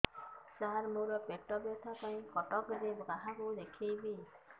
ସାର ମୋ ର ପେଟ ବ୍ୟଥା ପାଇଁ କଟକରେ କାହାକୁ ଦେଖେଇବି